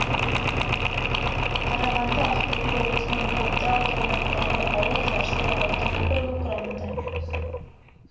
қарағанды ақтөбе облысының қобда ауданындағы ауыл жарсай ауылдық округі құрамында